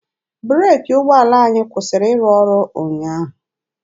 Breeki ụgbọala ahụ kwụsịrị ịrụ ọrụ ụnyaahụ.